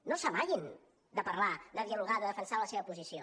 no s’amaguin de parlar de dialogar de defensar la seva posició